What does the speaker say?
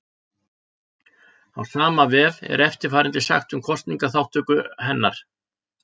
Á sama vef er eftirfarandi sagt um kosningaþátttöku hennar: